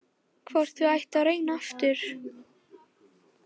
Hvort þau ættu að reyna aftur.